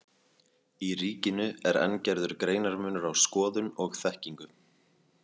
Í Ríkinu er enn gerður greinarmunur á skoðun og þekkingu.